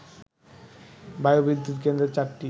বায়ু বিদ্যুৎ কেন্দ্রের ৪টি